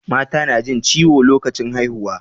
Mata na jin ciwo lokacin haihuwa